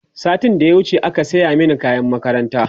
satin da ya wuce aka saya Mani kayan makaranta